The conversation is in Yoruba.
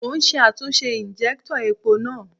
Mò ún ṣe àtúnṣe ìnjẹ́úntọ̀ epo náà